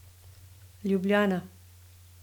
Ljubljana.